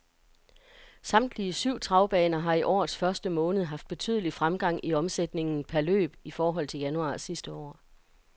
Samtlige syv travbaner har i årets første måned haft betydelig fremgang i omsætningen per løb i forhold til januar sidste år.